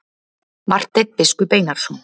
Marteinn biskup Einarsson.